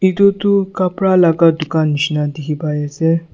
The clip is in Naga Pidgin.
etu tuh kapra la dukhan neshina dekhey pai ase.